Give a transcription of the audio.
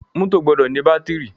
Mọ́tọ̀ gbọdọ ní bátìrì.